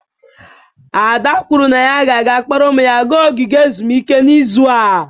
Ada kwuru na ya ga-akpọrọ ụmụ ya gaa ogige ezumike n'izu a.